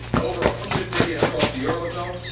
over a hundred billion across the eurozone.